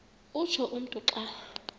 utsho umntu xa